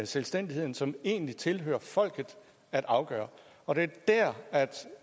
selvstændigheden som det egentlig tilhører folket at afgøre og det er der